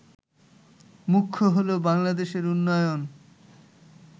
মুখ্য হল বাংলাদেশের উন্নয়ন